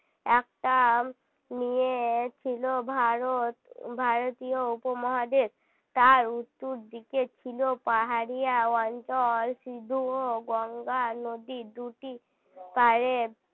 একটা নিয়েছিল ভারত ভারতীয় উপমহাদেশ তার উত্তর দিকে ছিল পাহাড়ি অঞ্চল শুধু গঙ্গা নদী দুটি পাড়ে